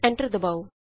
enter ਦਬਾਉ